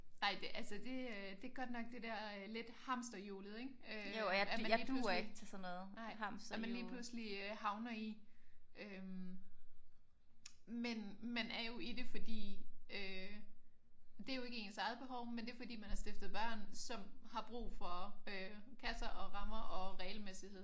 Nej det altså det er godt nok det der lidt hamsterhjulet ik? At man lige pludselig at man lige pludselig havner i øh men man er jo i det fordi øh det er jo ikke ens eget behov men det er fordi man har stiftet børn som har brug for kasser og rammer og regelmæssighed